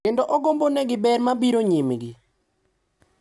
Kendo ogombonegi ber mabiro nyimgi.